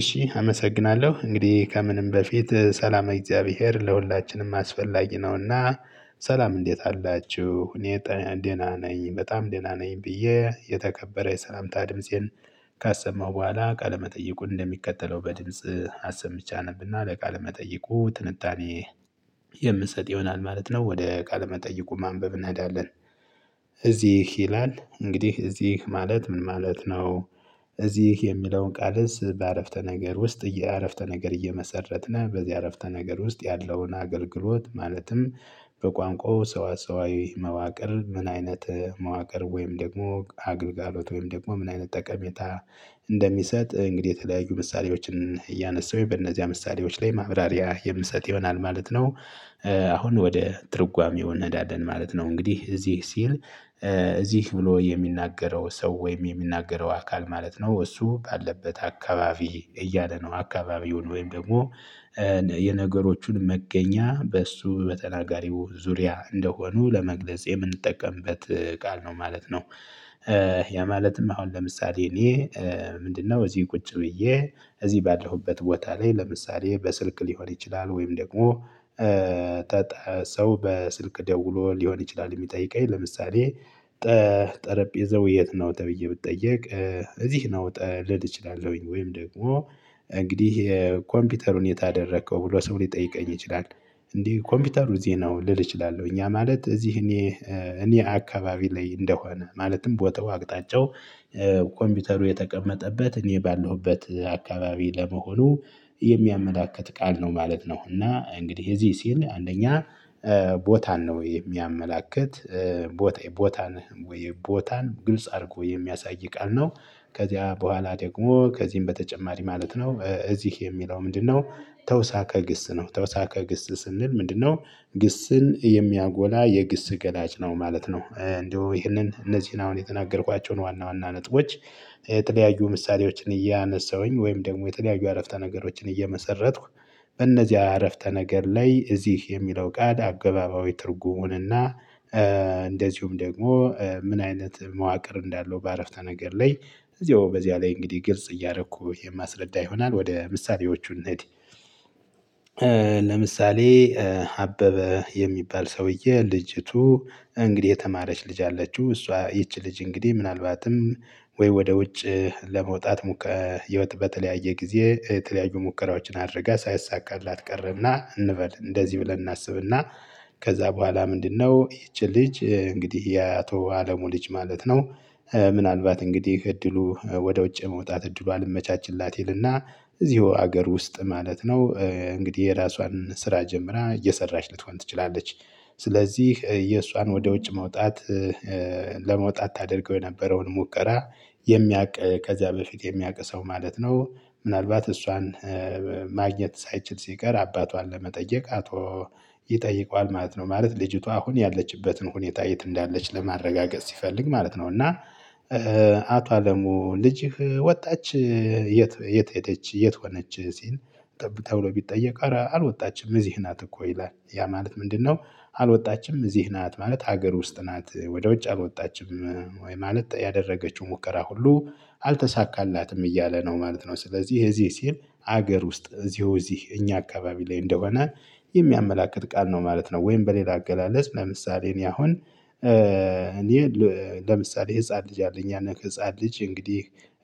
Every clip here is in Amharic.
እሺ አመሰግናለሁ እንግዲህ ከምንም በፊት ሰላም እግዚአብሔር ለሁላችንም አስፈላጊ ነውና። ሰላም እንዴት አላችሁ? እኔ ደህና ነኝ በጣም ደህና ነኝ ብዬ የተከበረ የሰላምታ ድምፄን። ካሰማው በኋላ ቃለመጠይቁን እንደሚከተለው በድምጽ አሰምቼ አነብና ለቃለመጠይቁ ትንታኔ ትንጣኔ የምሰጥ ይሆናል ማለት ነው ወደ ቃለመጠይቁ ማንበብ እንሄዳለን። እዚህ ይላል እንግዲህ እዚህ ማለት ምን ማለት ነው? እዚህ የሚለውን ቃልስ በአረፍተ ነገር ውስጥ የአረፍተ ነገር እየመሰረትን በዚህ አረፍተ ነገር ውስጥ ያለውን አገልግሎት ማለትም። በቋንቋው ሰዋ ሰዋዊ መዋቅር ምን አይነት መዋቅር ወይም ደግሞ አገልግሎት ወይም ደግሞ ምን አይነት ጠቀሜታ? እንደሚሰጥ እንግዲህ የተለያዩ ምሳሌዎችን እያነሳሁኝ በእነዚያ ምሳሌዎች ላይ ማብራሪያ የምሰጥ ይሆናል ማለት ነው። አሁን ወደ ትርጓሜው እንሄዳለን ማለት ነው እንግዲህ እዚህ ሲል። እዚህ ብሎ የሚናገረው ሰው ወይም የሚናገረው አካል ማለት ነው እሱ ካለበት አካባቢ እያለ ነው አካባቢውን ወይም ደግሞ የነገሮቹን መገኛ በእሱ በተናጋሪው ዙሪያ እንደሆኑ ለመግለጽ የምንጠቀምበት ቃል ነው ማለት ነው። ያ ማለትም አሁን ለምሳሌ እኔ ምንድነው? እዚህ ቁጭ ብዬ እዚህ ባደረሁበት ቦታ ላይ ለምሳሌ በስልክ ሊሆን ይችላል ወይም ደግሞ ሰው በስልክ ደውሎ ሊሆን ይችላል የሚጠይቀኝ ለምሳሌ ጠጠረጴዛው የት ነው ተብዬ ብትጠየቅ። እዚህ ነው ልል እችላለሁኝ ወይም ደግሞ እንግዲህ የኮምፒውተሩን የት አደረከው ብሎ ሰው ሊጠይቀኝ ይችላል። እንዲህ ኮምፒውተሩ እዚህ ነው ልል እችላለሁ እኛ ማለት እዚህ እኔ እኔ አካባቢ ላይ እንደሆነ ማለትም ቦታው አቅጣጫው ኮምፒውተሩ የተቀመጠበት እኔ ባለሁበት አካባቢ ለመሆኑ የሚያመላክት ቃል ነው ማለት ነው። እና እንግዲህ የዚህ ሲል አንደኛ ቦታን ነው የሚያመላክት ቦታ ቦታን ወይ ቦታን ግልጽ አድርጎ የሚያሳይ ቃል ነው። ከዚያ በኋላ ደግሞ ከዚህም በተጨማሪ ማለት ነው እዚህ የሚለው ምንድነው? ተውሳከ ግስ ነው ተውሳከ ግስ ስንል ምንድነው? ግስን የሚያጎላ የግስ ገላጭ ነው ማለት ነው። እንደው ይሄንን እነዚህን አሁን የተናገርኳቸውን ዋና ዋና ነጥቦች። የተለያዩ ምሳሌዎችን እያነሳሁኝ ወይም ደግሞ የተለያዩ አረፍተ ነገሮችን እየመሰረትኩ በእነዚያ አረፍተ ነገር ላይ እዚህ የሚለው ቃል አገባባዊ ትርጉሙንና። እንደዚሁም ደግሞ ምን አይነት መዋቅር እንዳለው በአረፍታ ነገር ላይ እዚያው በዚያ ላይ እንግዲህ ግልጽ እያረኩ የማስረዳ ይሆናል ወደ ምሳሌዎቹ እንሂድ። ለምሳሌ አበበ የሚባል ሰውዬ ልጅቱ እንግዲህ የተማረች ልጅ አለችው እሷ ይቺ ልጅ እንግዲህ ምናልባትም ወይ ወደ ውጭ ለመውጣት ሙከራ ህይወት በተለያየ ጊዜ የተለያዩ ሙከራዎችን አድርገህ ሳይሳካላት ቀረና እንበል እንደዚህ ብለን እናስብና። ከዛ በኋላ ምንድነው ይቺ ልጅ እንግዲህ የአቶ አለሙ ልጅ ማለት ነው። ምናልባት እንግዲህ እድሉ ወደ ውጭ መውጣት እድሉ አልመቻችላት ይልና እዚሁ ሀገር ውስጥ ማለት ነው እንግዲህ የራሷን ስራ ጀምራ እየሰራች ልትሆን ትችላለች። ስለዚህ የእሷን ወደ ውጭ መውጣት ለመውጣት ታደርገው የነበረውን ሙከራ የሚያውቅ ከዚያ በፊት የሚያውቅ ሰው ማለት ነው። ምናልባት እሷን ማግኘት ሳይችል ሲቀር አባቷን ለመጠየቅ አቶ ይጠይቀዋል ማለት ነው። ማለት ልጅቷ አሁን ያለችበትን ሁኔታ የት እንዳለች ለማረጋገጥ ሲፈልግ ማለት ነው። እና አቶ አለሙ ልጅህ ወጣች። የት የት ሄደች የት ሆነች ሲል ጠብቅ ተብሎ ቢጠየቅ አረ አልወጣችም እዚህ ናት እኮ ይላል ያ ማለት ምንድነው? አልወጣችም እዚህ ናት ማለት ሀገር ውስጥ ናት ወደ ውጭ አልወጣችም ወይ? ማለት ያደረገችው ሙከራ ሁሉ አልተሳካላትም እያለ ነው ማለት ነው። ስለዚህ የዚህ ሲል ሀገር ውስጥ እዚሁ እዚህ እኛ አካባቢ ላይ እንደሆነ የሚያመላክት ቃል ነው ማለት ነው። ወይም በሌላ አገላለጽ ለምሳሌ እኔ አሁን እኔ ለምሳሌ ህፃን ልጅ አለ እኛን ከህፃን ልጅ እንግዲህ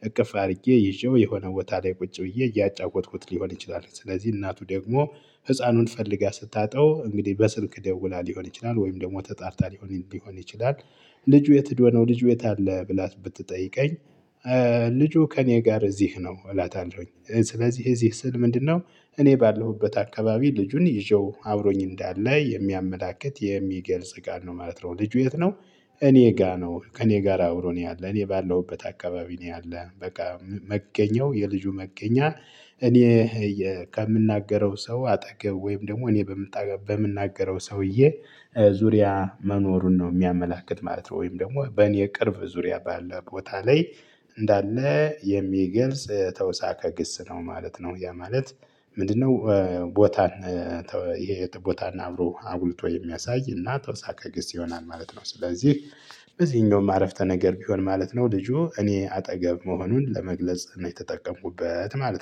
እቅፍ አድርጌ ይዤው የሆነ ቦታ ላይ ቁጭ ብዬ እያጫወተኩት ሊሆን ይችላል ስለዚህ እናቱ ደግሞ ህፃኑን ፈልጋ ስታጣው እንግዲህ በስንክ ደውላ ሊሆን ይችላል ወይም ደግሞ ተጣርታ ሊሆን ሊሆን ይችላል። ልጁ የት ሂድ ነው ልጁ የት አለ ብላ ብትጠይቀኝ። ልጁ ከእኔ ጋር እዚህ ነው እላታለሁኝ ስለዚህ እዚህ ስል ምንድነው? እኔ ባለሁበት አካባቢ ልጁን ይዤው አብሮኝ እንዳለ የሚያመላክት የሚገልጽ ቃል ነው ማለት ነው። ልጁ የት ነው? እኔ ጋር ነው ከእኔ ጋር አውሮ ነው ያለን እኔ ባለሁበት አካባቢ ነው ያለን በቃ መገኛው የልጁ መገኛ እኔ ከምናገረው ሰው አጠገብ ወይም ደግሞ እኔ በምናገረው ሰውዬ ዙሪያ መኖሩን ነው የሚያመላክት ማለት ነው። ወይም ደግሞ በእኔ ቅርብ ዙሪያ ባለው ቦታ ላይ እንዳለ የሚገልጽ ተውሳከ ግስ ነው ማለት ነው። ያ ማለት ምንድነው? ቦታን የት ቦታን አብሮ አጉልቶ የሚያሳይ እና ተውሳካ ግስ ይሆናል ማለት ነው። ስለዚህ በዚህኛውም አረፍተ ነገር ቢሆን ማለት ነው ልጁ እኔ አጠገብ መሆኑን ለመግለጽ ነው የተጠቀምኩበት ማለት ነው